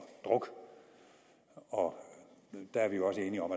druk og der er vi jo også enige om